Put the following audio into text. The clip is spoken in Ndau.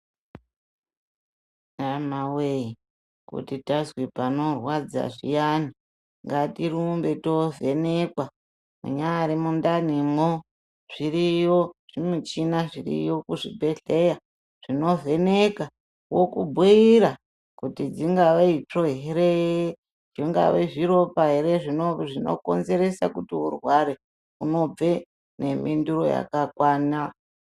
Hamawee kuti tazwe panorwadza zviyani, ngatirumbe tovhenekwa, munyari mundanimwo. Zviriyo zvimichina zviriyo kuzvibhedhleya, zvinovheneka, okubhuyira kuti dzingave itsvo here, zvingave zviropa here zvinokonzerese kuti urware. Unobve nemhinduro yakakwana.